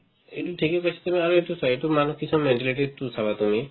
এইটো থিকে কৈছা তুমি আৰু এইটো চোৱা এইটো মানুহ কিছুমানৰ mentality তো চাবা তুমি